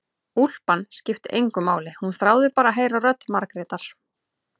Úlpan skipti engu máli, hún þráði bara að heyra rödd Margrétar.